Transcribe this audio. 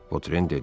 Votren dedi: